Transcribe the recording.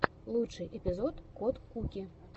лучший эпизод кот куки